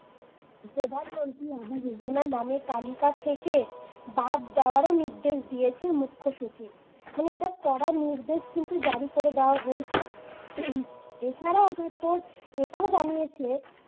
প্রধানমন্ত্রী আবাস যোজনা নামের তালিকা থেকে বাদ দেওয়ার ও নির্দেশ দিয়েছেন মুখ্য সচিব মানে এটা কড়া নির্দেশ কিন্তু জারি করে দেওয়া হয়েছে। হম এছাড়াও আবার তোর এটাও জানিয়েছে